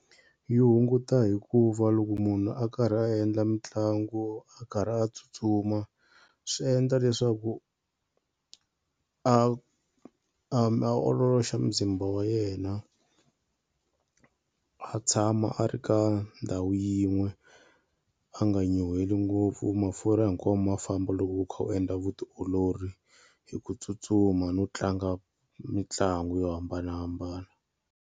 Yi hunguta hikuva loko munhu a karhi a endla mitlangu a karhi a tsutsuma swi endla leswaku a a a ololoxa muzimba wa yena a tshama a ri ka ndhawu yin'we a nga nyuhweli ngopfu. Mafurha hinkwavo ma famba loko u kha u endla vutiolori hi ku tsutsuma no tlanga mitlangu yo hambanahambana.